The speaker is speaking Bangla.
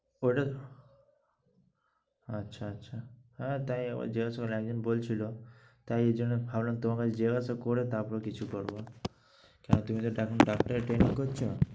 ঐটা আচ্ছা আচ্ছা। হ্যাঁ তাই আবার জিজ্ঞাসা করলাম একজন বলছিল তাই জন্য ভাবলাম তোমার কাছে জিজ্ঞাসা করে তারপরে কিছু করব। কেন তুমি তো এখন ডাক্তারের training করছ।